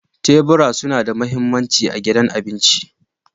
Tebura suna da mahimmanci a gidan abinci.